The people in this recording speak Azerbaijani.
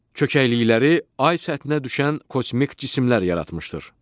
Çökəklikləri ay səthinə düşən kosmik cisimlər yaratmışdır.